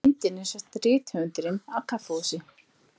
Á myndinni sést rithöfundurinn á kaffihúsi.